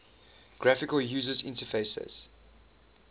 graphical user interfaces